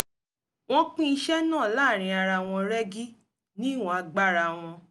wọ́n pín iṣẹ́ náà láàárín ara wọn rẹ́gí ní ìwọ̀n agbára wọn